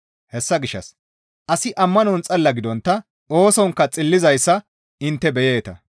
Hessa gishshas asi ammanon xalla gidontta oosonkka xillizayssa intte beyeeta.